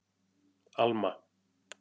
Alma